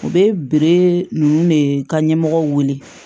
U bɛ bere ninnu de ka ɲɛmɔgɔw wele